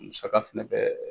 Musaka fana bɛ